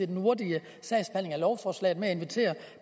den hurtige sagsbehandling af lovforslaget og med at invitere